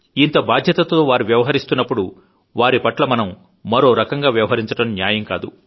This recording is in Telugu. ఇంత బాధ్యతతో వారు వ్యవహరిస్తున్నప్పుడు వారి పట్ల మనం మరో రకంగా వ్యవహరించడం న్యాయం కాదు